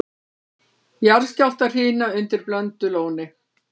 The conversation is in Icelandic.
Jarðskjálftahrina undir Blöndulóni